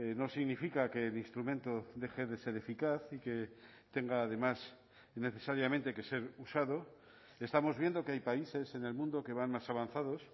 no significa que el instrumento deje de ser eficaz y que tenga además necesariamente que ser usado estamos viendo que hay países en el mundo que van más avanzados